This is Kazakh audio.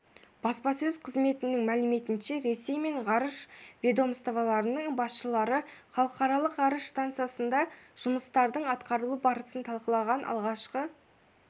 баспасөз қызмтетінің мәліметінше ресей мен ғарыш ведомстволарының басшылары халықаралық ғарыш стансасындағы жұмыстардың атқарылу барысын талқылаған алғашқы